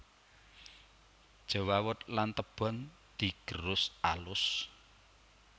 Jewawut lan tebon digerus alus